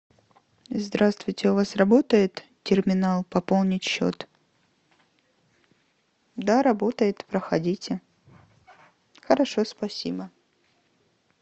здравствуйте у вас работает терминал пополнить счет да работает проходите хорошо спасибо